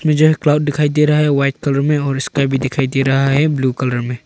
मुझे क्लाउड दिखाई दे रहा है व्हाइट कलर में और भी दिखाई दे रहा है ब्लू कलर में।